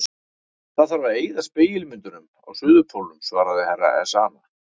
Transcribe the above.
Það þarf að eyða spegilmyndunum á Suðurpólnum, svaraði herra Ezana.